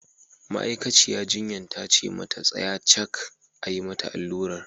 Ma'aikaciya jinyan ta ce mata ta tsaya cak a yi mata allurar!